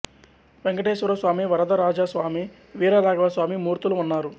వేంకటేశ్వర స్వామి వరదరాజ స్వామి వీరరాఘవ స్వామి మూర్తులు ఉన్నారు